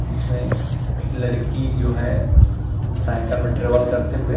जिसमें एक लड़की जो है साइकल में ट्रेवल करते हुए --